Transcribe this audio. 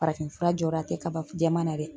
Farafinfura jɔda tɛ kaba jɛman na dɛ